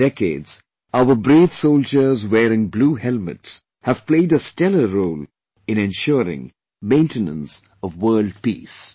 For decades, our brave soldiers wearing blue helmets have played a stellar role in ensuring maintenance of World Peace